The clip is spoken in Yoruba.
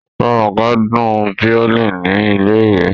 Romoke dùn violin ni ilé-ìwé